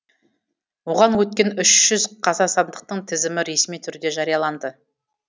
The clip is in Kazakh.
оған өткен үш жүз қазақстандықтың тізімі ресми түрде жарияланды